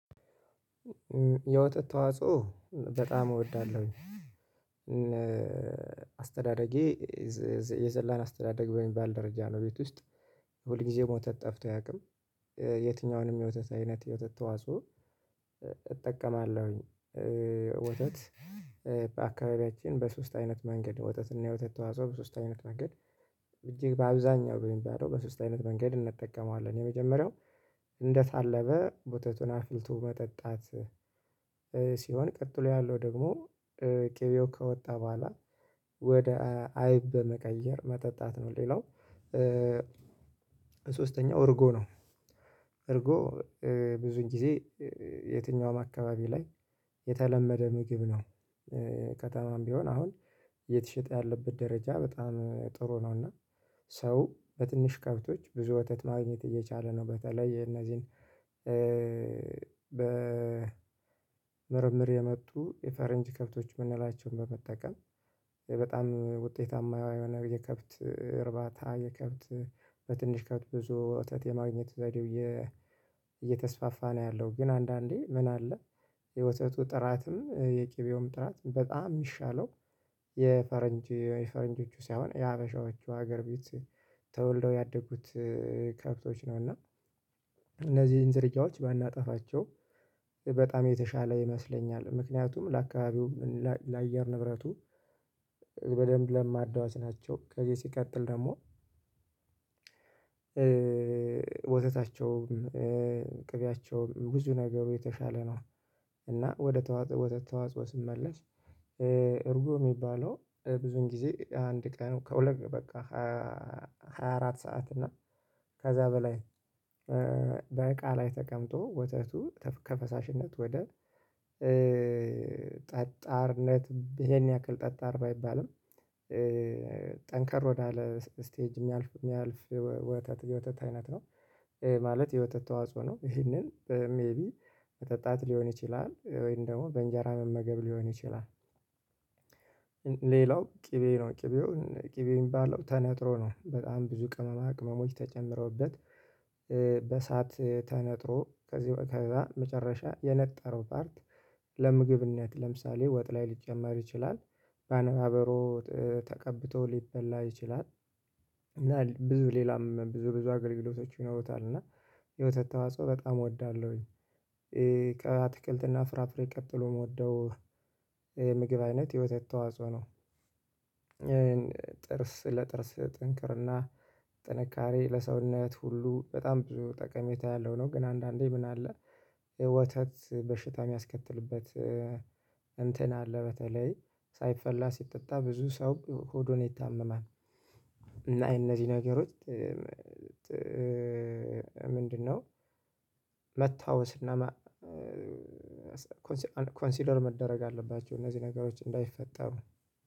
የወትት ተዋጽኦ በጣም እወዳለሁ። አስተዳደጌ የዘላን አስተዳደግ በሚባል ደረጃ ነው። ቤት ውስጥ ሁል ጊዜ ወተት ጠፍቶ አያውቅም። የትኛውንም የወተት አይነት የወተት ተዋጽኦ እጠቀማለሁኝ። ወተት በአካባቢያችን በሶስት አይነት መንገድ ወተት እና የወተት ተዋጽኦ በሶስት አይነት መንገድ እጅግ በአብዛኛው በሚባለው በሶስት አይነት መንገድ እንጠቀመዋለን። የመጀመሪያው እንደታለበ ወተቱን አፍልቶ መጠጣት። ሲሆን ቀጥሎ ያለው ደግሞ ቅቤው ከወጣ በኋላ ወደ አይብ በመቀየር መጠጣት ነው። ሌላው ሶስተኛው እርጎ ነው። እርጎ ብዙን ጊዜ የትኛውም አካባቢ ላይ የተለመደ ምግብ ነው። ከተማም ቢሆን አሁን እየተሸጠ ያለበት ደረጃ በጣም ጥሩ ነው። እና ሰው በትንሽ ከብቶች ብዙ ወተት ማግኘት እየቻለ ነው። በተለይ የእነዚህን በ ምርምር የመጡ የፈረንጅ ከብቶች የምንላቸውን በመጠቀም በጣም ውጤታማ የሆነ የከብት እርባታ። የከብት በትንሽ ከብት ብዙ ወተት የማግኘት ዘዴው እየተስፋፋ ነው። ያለው ግን አንዳንዴ ምን አለ? የወተቱ ጥራትም የቅቤውም ጥራት በጣም የሚሻለው የፈረንጅ የፈረንጆቹ ሳይሆን የሀበሻዎቹ ሀገር ቤት ተወልደው ያደጉት ከብቶች ነው። እና እነዚህን ዝርያዎች ባናጠፋቸው በጣም የተሻለ ይመስለኛል። ምክንያቱም ለአካባቢው ለአየር ንብረቱ በደንብ ለማዳዎች ናቸው። ከዚህ ሲቀጥል ደግሞ ወተታቸውም ቅቢያቸው ብዙ ነገሩ የተሻለ ነው። እና ወደ ተዋጽኦ ስመለስ እርጎ የሚባለው ብዙን ጊዜ አንድ ቀኑ ከሁለት በቃ ሃያአራት ሰዓት እና ከዛ በላይ በእቃ ላይ ተቀምጦ ወተቱ ከፈሳሽነት ወደ ጠጣርነት ይሄን ያክል ጠጣር አይባልም። ጠንከር ወዳለ ስቴጅ የሚያልፍ የሚያልፍ ወተት የወተት አይነት ነው። ማለት የወተት ተዋጽኦ ነው። ይሄንን ሜይቢ መጠጣት ሊሆን ይችላል ወይም ደግሞ በእንጀራ መመገብ ሊሆን ይችላል። ሌላው ቅቤ ነው ቅቤውን ቅቤ የሚባለው ተነጥሮ ነው። በጣም ብዙ ቅመማ ቅመሞች ተጨምረውበት በሰአት ተነጥሮ ከዚህ ከዛ መጨረሻ የነጠረው ፓርት ለምግብነት ለምሳሌ ወጥ ላይ ሊጨመር ይችላል። በአነባበሮ ተቀብቶ ሊበላ ይችላል። እና ብዙ ሌላም ብዙ ብዙ አገልግሎቶች ይኖሩታል እና የወተት ተዋጽኦ በጣም እወዳለሁኝ። ከአትክልትና ፍራፍሬ ቀጥሎ የምወደው ምግብ አይነት የወተት ተዋጽኦ ነው። ጥርስ ለጥርስ ጥንክርና ጥንካሬ ለሰውነት ሁሉ በጣም ብዙ ጠቀሜታ ያለው ነው። ግን አንዳንዴ ምን አለ? ወተት በሽታ የሚያስከትልበት እንትን አለ በተለይ ሳይፈላ ሲጠጣ ብዙ ሰው ሆዱን ይታመማል። እና እነዚህ ነገሮች ምንድነው? መታወስና ኮንሲደር መደረግ አለባቸው እነዚህ ነገሮች እንዳይፈጠሩ።